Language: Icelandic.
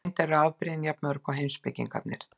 Reyndar eru afbrigðin jafn mörg og heimspekingarnir.